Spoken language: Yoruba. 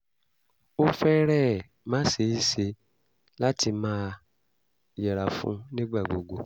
ó fẹ́rẹ̀ẹ́ má ṣe é ṣe láti máa yẹra fún un nígbà gbogbo